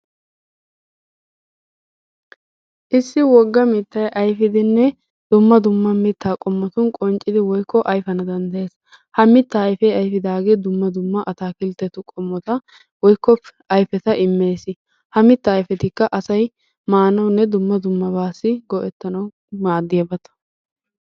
Issi wogga mittayi ayfidinne dumma dumma mittaa qommotun qonccidi woykko ayfana danddayees. Ha ayfee ayfidaagee dumma dumma ataakiltteetu qommota woykko ayfeta immes. Ha ayfetikka asayi maanawunne dummabaassi go'ettanawu maaddiyabata.